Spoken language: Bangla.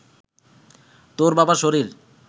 তোর বাবার শরীর